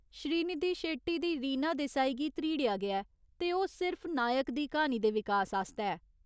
श्रीनिधि शेट्टी दी रीना देसाई गी धरीड़ेआ गेआ ऐ ते ओह् सिर्फ नायक दी क्हानी दे विकास आस्तै ऐ।